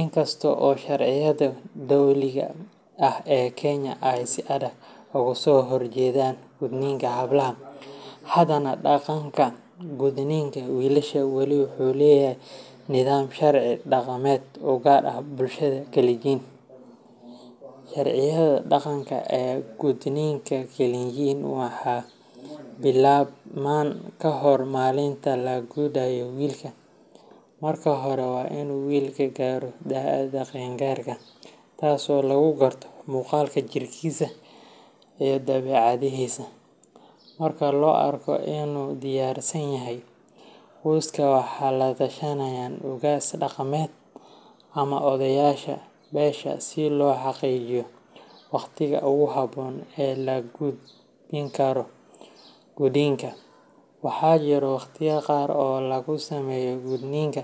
inkasto oo sharciyada dowliga ehh ee kenya ay sida ogaso horjedan gudninka xablaxa hadane daqanka gudninka wiilasha weli waxu leeyaxay nidham sharci daqamed ugar ah bulshada kaligin sharcyada daqanka ee gudninka kalenjin waxa bilabman kahor malinta lagudayo wilka marka hore waa inu wilka garo daada qen garka taas oo lagu garto muqalka jirkisa iyo dabecadisa marka loo arko inudiyarsan yaxay qoska waxa latashanayan ugaas daqamed ama odeyaasha mesha siloo xaqijiyo waqtiga ogu xabon ee lagudikaro gudinka waxajiro waqti yaxa qaar oo lagu semo gudninka.